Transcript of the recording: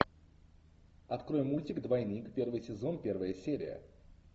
открой мультик двойник первый сезон первая серия